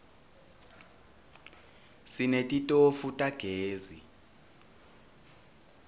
sinetitofu tagezi